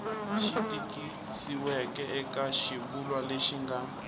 tikisiweke eka xivulwa lexi nga